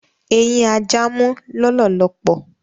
Eyin aja mú lólòlòpò